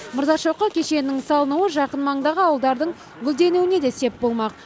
мырзашоқы кешенінің салынуы жақын маңдағы ауылдардың гүлденуіне де сеп болмақ